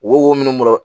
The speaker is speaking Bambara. U wo minnu kɔrɔ